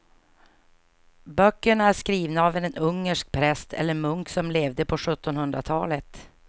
Böckerna är skrivna av en ungersk präst eller munk som levde på sjuttonhundratalet.